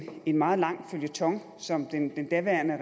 en meget lang føljeton som den daværende